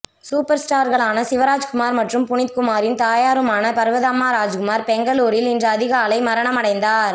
சூப்பர்ஸ்டார்களான சிவராஜ்குமார் மற்றும் புனித் குமாரின் தாயாருமான பர்வதம்மா ராஜ்குமார் பெங்களூரில் இன்று அதிகாலை மரணமடைந்தார்